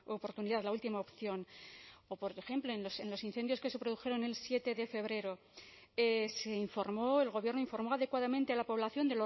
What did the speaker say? oportunidad la última opción o por ejemplo en los incendios que se produjeron el siete de febrero se informó el gobierno informó adecuadamente a la población